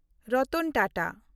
Ratan Tata